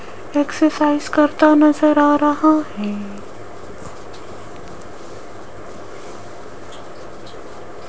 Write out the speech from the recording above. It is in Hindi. एक्सरसाइज करता नजर आ रहा है।